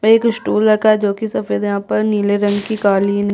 एक स्टूल रखा है जो कि सफ़ेद रंग का है यहाँ पर नीले रंग की कालीन--